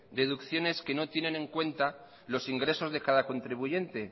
deducciones que no tienen en cuenta los ingresos de cada contribuyente